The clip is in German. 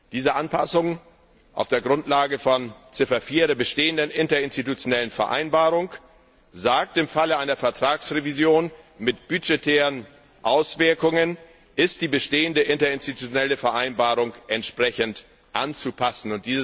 Diese Anpassung auf der Grundlage von Ziffer 4 der bestehenden Interinstitutionellen Vereinbarung sagt Im Falle einer Vertragsrevision mit budgetären Auswirkungen ist die bestehende Interinstitutionelle Vereinbarung entsprechend anzupassen.